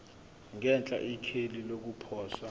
ngenhla ikheli lokuposa